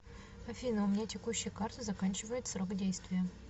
афина у меня текущая карта заканчивает срок действия